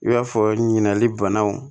I b'a fɔ ɲinigali banaw